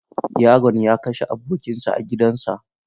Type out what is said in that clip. Yaron ya kashe abokinsa a gidansa.